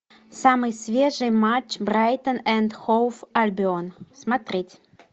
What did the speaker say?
самый свежий матч брайтон энд хоув альбион смотреть